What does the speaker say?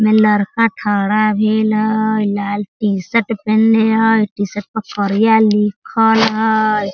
इमें लड़का खड़ा भेल हई लाल टी-शर्ट पेहनले हई टी-शर्ट पे करिया लिखल हई।